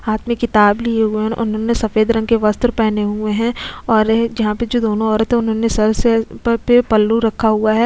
हाथ में किताब लिए हुए हैं और उन्होंने सफेद रंग के वस्त्र पहने हुए हैं और जहाँ पर जो दोनों औरते हैं उन्होंने सर से ऊपर पे पल्लू रखा हुआ है।